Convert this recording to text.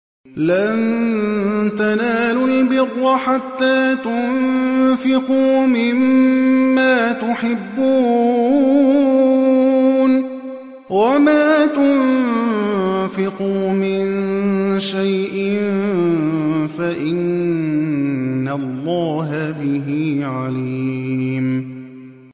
لَن تَنَالُوا الْبِرَّ حَتَّىٰ تُنفِقُوا مِمَّا تُحِبُّونَ ۚ وَمَا تُنفِقُوا مِن شَيْءٍ فَإِنَّ اللَّهَ بِهِ عَلِيمٌ